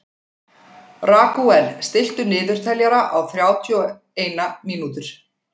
Ragúel, stilltu niðurteljara á þrjátíu og eina mínútur.